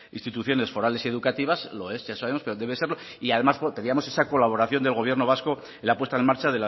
instituciones forales y educativas lo es ya sabemos pero debe serlo y además pedíamos esa colaboración del gobierno vasco en la puesta en marcha